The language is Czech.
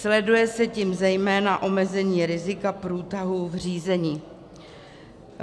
Sleduje se tím zejména omezení rizika průtahu v řízení.